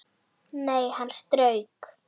Nei, hann strauk